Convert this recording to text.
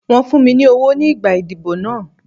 Wọ́n fún mi ní owó nígbà ìdìbò náà.